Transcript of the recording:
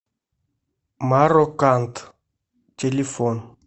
мароканд телефон